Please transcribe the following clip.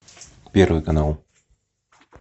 первый канал